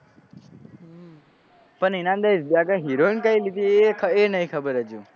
પણ એના અંદર હિરોઈન કઈ લીધી એ નહી ખબર હજુ